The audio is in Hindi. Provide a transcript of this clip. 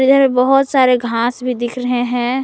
इधर बहुत सारे घांस भी दिख रहे हैं।